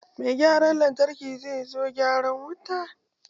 Mai gyaran lantarki zai zo gyara wutan.